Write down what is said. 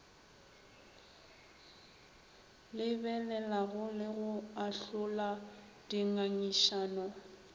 lebelelago le go ahlola dingangišano